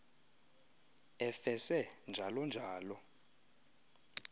efese njalo njalo